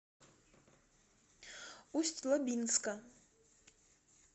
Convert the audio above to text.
усть лабинска